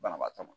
Banabaatɔ ma